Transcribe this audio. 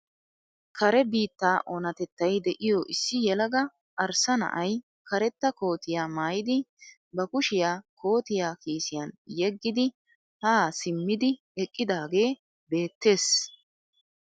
Kare biittaa onatettay de'iyoo issi yelaga arssa na'ay karetta kootiyaa maayidi ba kuushiyaa kootiyaa kiisiyaan yeegidi haa simmidi eqqidagee beettees.